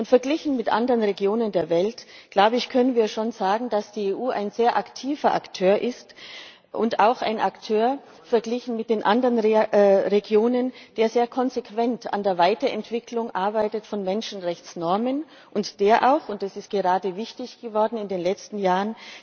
Verglichen mit anderen Regionen der Welt können wir schon sagen, dass die EU ein sehr aktiver Akteur ist und auch ein Akteur verglichen mit den anderen Regionen der sehr konsequent an der Weiterentwicklung von Menschenrechtsnormen arbeitet und der auch und das ist gerade wichtig geworden in den letzten Jahren